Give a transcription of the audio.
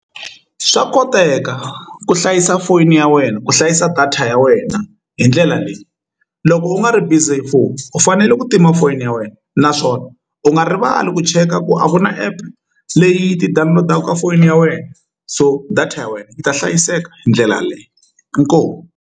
Swa koteka ku hlayisa foyini ya wena ku hlayisa data ya wena hi ndlela leyi loko u nga ri busy hi foni u fanele ku tima foyini ya wena naswona u nga rivali ku cheka ku a ku na app leyi ti-download-aku ka foyini ya wena so data ya wena yi ta hlayiseka hi ndlela yaleyo inkomu.